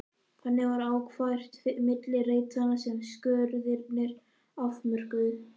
Þannig var akfært milli reitanna sem skurðirnir afmörkuðu.